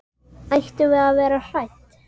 Ættum við að vera hrædd?